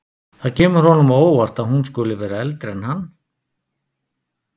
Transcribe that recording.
Það kemur honum á óvart að hún skuli vera eldri en hann.